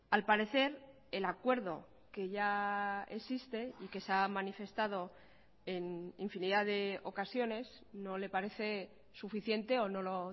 al parecer el acuerdo que ya existe y que se ha manifestado en infinidad de ocasiones no le parece suficiente o no lo